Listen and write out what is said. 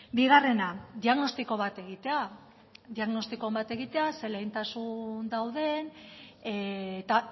bigarrena diagnostiko bat egitea diagnostiko on bat egitea ze lehentasun dauden eta